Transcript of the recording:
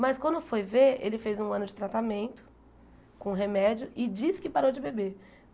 Mas quando foi ver, ele fez um ano de tratamento com remédio e disse que parou de beber.